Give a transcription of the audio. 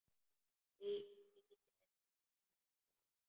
Lítill eftir aldri.